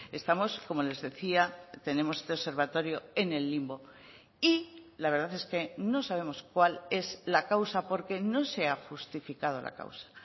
estamos como les decía tenemos este observatorio en el limbo y la verdad es que no sabemos cuál es la causa porque no se ha justificado la causa